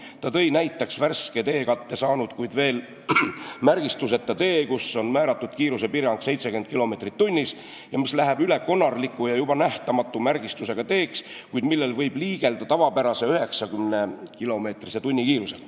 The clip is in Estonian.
Ta tõi näiteks värske teekatte saanud, kuid veel märgistuseta tee, kus on määratud kiirusepiirang 70 kilomeetrit tunnis ning mis läheb üle konarlikuks ja juba nähtamatu märgistusega teeks, millel võib liigelda tavapärase, 90-kilomeetrise tunnikiirusega.